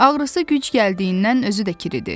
Ağrısı güc gəldiyindən özü də kiridi.